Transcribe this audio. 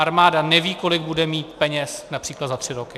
Armáda neví, kolik bude mít peněz například za tři roky.